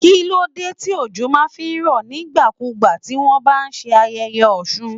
Kíló dé tí òjò má a fí rọ̀ nígbà kú gbà tí wọ́n bá ń ṣe ayẹyẹ Osun.